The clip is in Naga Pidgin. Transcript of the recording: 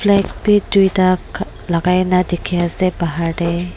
black bi tuita lakai na dikhiase bahar tae.